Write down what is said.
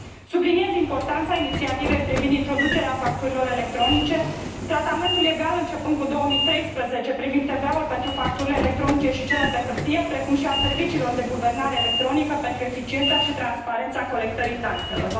Subliniez importanța inițiativei privind introducerea facturilor electronice, tratamentul egal începând cu 2013 privind TVA ul pentru facturile electronice și cele pe hârtie, precum și a serviciilor de guvernare electronică pentru eficiența și transparența colectării taxelor.